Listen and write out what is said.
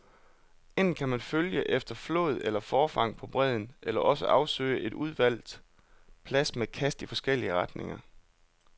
Enten kan man følge efter flåd eller forfang på bredden, eller også afsøges en udvalgt plads med kast i forskellige retninger.